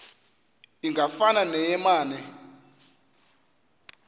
ingafana neye mane